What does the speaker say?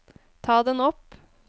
ta den opp